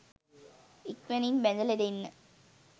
ඉක්මනින් බැඳලා දෙන්න.